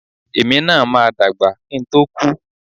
Èmi máa dàgbà kí ń tó kú.